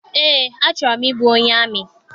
Eé, achọrọ m ịbụ onye amị